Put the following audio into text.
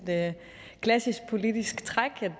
klassisk politisk træk